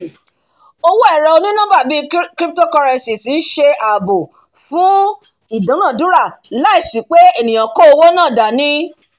owó ẹ̀rọ oní-nọ́mbà bíi cryptocurrencies ń ṣe ààbò fún ìdúnadúrà láìsí pé ènìyàn kó owó náà dání